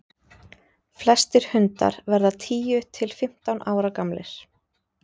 flestir hundar verða tíu til fimmtán ára gamlir